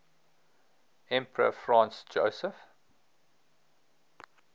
emperor franz joseph